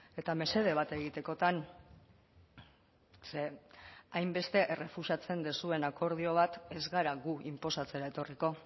eta mesede bat egitekotan ze hainbeste errefusatzen duzuen akordio bat ez gara gu inposatzera etorriko